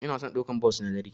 Ina son daukan bos na dare.